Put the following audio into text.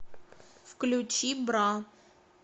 включи бра